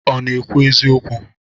Ọ na-ekwu eziokwu?